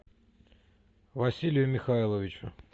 василию михайловичу